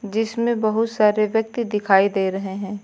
जिसमें बहुत सारे व्यक्ति दिखाई दे रहे हैं।